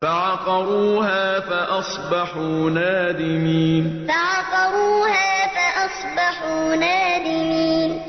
فَعَقَرُوهَا فَأَصْبَحُوا نَادِمِينَ فَعَقَرُوهَا فَأَصْبَحُوا نَادِمِينَ